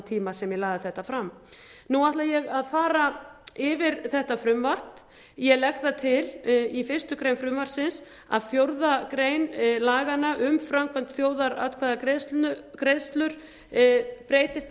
tíma sem ég lagði þetta fram nú ætla ég að fara yfir þetta frumvarp ég legg það til í fyrstu grein frumvarpsins að fjórðu grein laganna um framkvæmd þjóðaratkvæðagreiðslur breytist